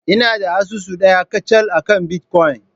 Ina da asusu ɗaya kacal akan bitcoin.